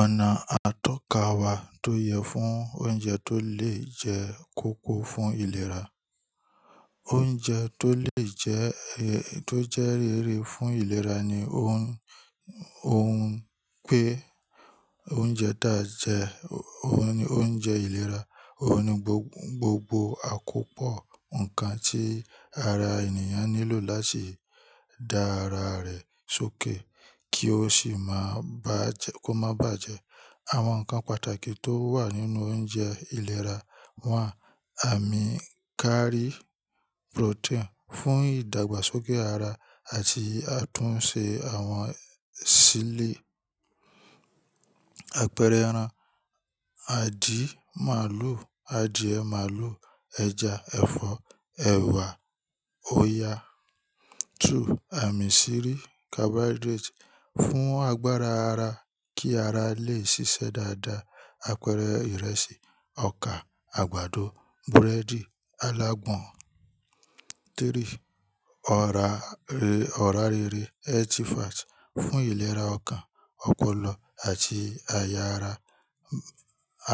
Ọ̀nà àtọ́ka wa tó yẹ fún oúnjẹ tó lè jẹ́ kóko fún ìlera. Oúnjẹ tó lè jẹ tó jẹ́ rere fún ìlera ni oun, oun pé oúnjẹ dáa jẹ, oun ni oúnjẹ ìlera. Óun ní gbogbo àkópọ̀ ǹkan tí ara ènìyàn nílò láti dá ara rẹ̀ sókè kí ó sì máa bàjẹ́, kó máa bàjẹ́. Àwọn ǹkan pàtàkì tó wà nínú oúnjẹ ìlera wà: Àmíkárí protein fún ìdàgbàsókè ara àti àtúnṣe àwọn sílé. Àpẹẹrẹ ẹran, àdì màlúù, àdìẹ màlúù, ẹja, ẹ̀fọ́, ẹ̀wà, oyà. Two, àmísírí carbohydrate fún agbára ara kí ara lè ṣiṣẹ́ dáadáa. Àpẹẹrẹ ìrẹsì, ọkà, àgbàdo, búrẹ́dì, alágbọn. Three, ọ̀rá rere ọra rere healthy fat fún ìlera ọkàn, ọpọlọ àti àyà ara.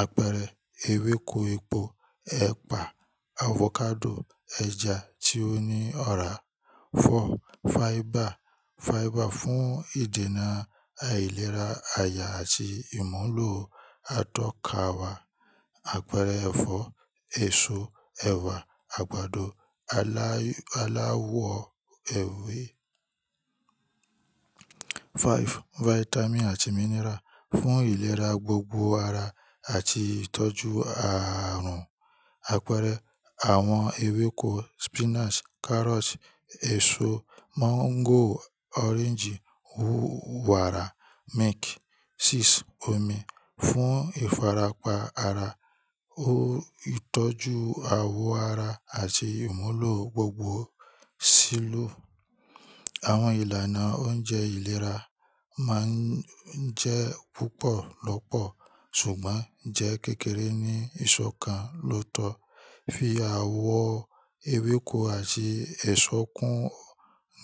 Àpẹẹrẹ ewéko epo, ẹ̀pà, avocado, ẹja tí ó ní ọ̀rá. Four, fiber. Fiber fún ìdènà aìlera àyà àti ìmúlò atọ́ka wa. Àpẹẹrẹ ẹ̀fọ́, èso, ẹ̀wà, àgbàdo, ala aláwọ ewé. Five, vitamin àti mineral fún ìlera gbogbo ara àti ìtọ́jú ààrùn. Àpẹẹrẹ àwọn ewéko spinach, carrot, èso mango, orange, wàrà, milk. Six, omi fún ìfarapa ara, ìtọ́jú àwọ̀ ara àti ìmúlò gbogbo sílú. Àwọn ìlànà oúnjẹ ìlera máa ń jẹ́ púpọ̀ lọ́pọ̀ ṣùgbọ́n jẹ́ kékeré ní ìṣọ̀ kan lóòótọ́. Fi àwọ̀ ewéko àti èso kún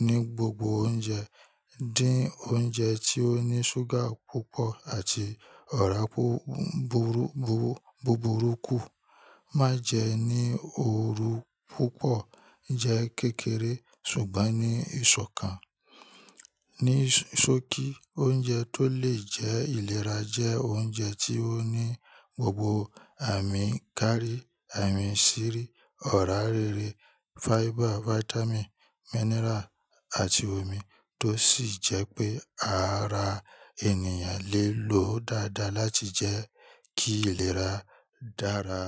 ní gbogbo oúnjẹ. Dín oúnjẹ tí ó ní ṣúgà púpọ̀ àti ọ̀rá búburú kù. Má jẹ ní òru púpọ̀, jẹ kékeré ṣùgbọ́n ní ìṣọ̀ kan. Nisóò sookì oúnjẹ tó lè jẹ́ ìlera jẹ́ oúnjẹ tí ó ní gbogbo àmíkárí, àmísírí, ọ̀rá rere, fiber, vitamin, mineral àti omi tó sì jẹ́ pé ara ènìyàn lè lòó dáadáa láti jẹ́ kí ìlera dára.